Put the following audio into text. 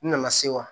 N nana se wa